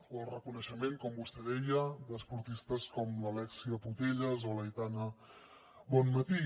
o el reconeixement com vostè deia d’esportistes com la alexia putellas o l’aitana bonmatí